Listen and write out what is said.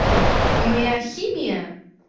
аа и моя химия